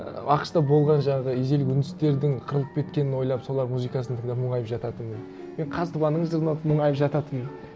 ііі ақш та болған жаңағы ежелгі үндістердің қырылып кеткенін ойлап солардың музыкасын тыңдап мұнайып жататынмын мен мұнайып жататынмын